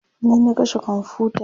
ni na kashe komfuta